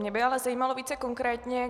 Mě by ale zajímalo více konkrétně.